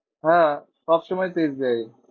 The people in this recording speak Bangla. হ্যাঁ সব সময় তো এস বি আই